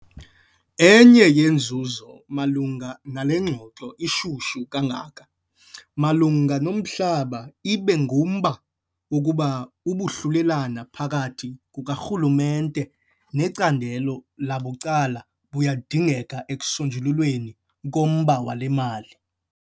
Enye yeenzuzo malunga nale ngxoxo ishushu kangako malunga nomhlaba ibe ngumba wokuba ubuhlulelane phakathi kukaRhulumente necandelo labucala buyadingeka ekusonjululweni komba wemali.